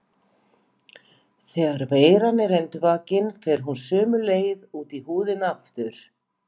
Þegar veiran er endurvakin fer hún sömu leið út í húðina aftur.